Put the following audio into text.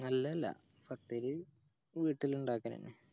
അല്ല അല്ല പത്തിരി വീട്ടീൽ ഇണ്ടാക്കലന്നെ